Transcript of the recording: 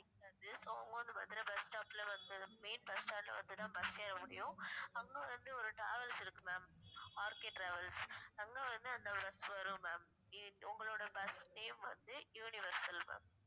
வந்து so அவங்க வந்து மதுரை bus stop ல வந்து main bus stand ல வந்துதான் bus ஏற முடியும் அங்க வந்து ஒரு travels இருக்கு ma'amRKtravels அங்க வந்து அந்த bus வரும் ma'am ஏ உங்களோட bus name வந்து universal ma'am